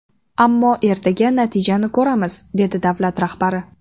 Ammo ertaga natijani ko‘ramiz”, dedi davlat rahbari.